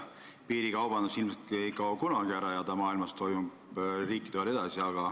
Piirikaubandus ilmselt ei kao kunagi ära, ka mujal maailmas on see riikide vahel olemas.